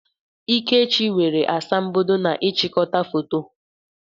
Ikechi nwere asambodo na n'ịchịkọta foto.